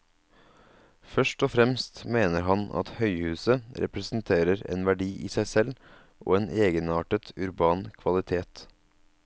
Først og fremst mener han at høyhuset representerer en verdi i seg selv og en egenartet urban kvalitet.